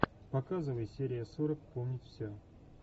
показывай серия сорок помнить все